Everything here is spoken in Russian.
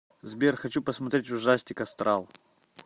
сбер хочу посмотреть ужастик астрал